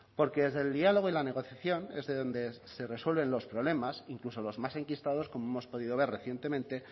porque desde el diálogo y la negociación es de donde se resuelven los problemas incluso los más enquistados como hemos podido ver recientemente